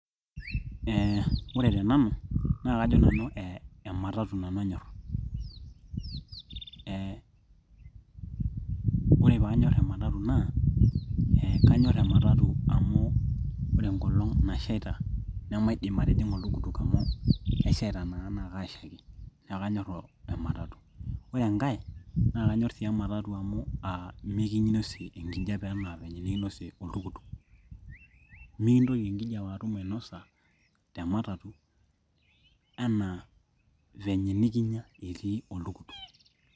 Aa ore tenanu naa kajo nanu ee ematatu nanu anyor ee ore paanyor ematatu naaa ee kanyor ematatu amu ore enkolong nashaita nemaidim atijing'a oltukutuk amu keshaita naa naa kaashaiki neeku kanyor ematatu ore enkae naakanyor sii ematatu amu aa mikinosie enkijiape enaa venye nikinosie oltukutuk mintoki enkijiape atum ainosa tematatu enaa venye nikinosie oltukutuk.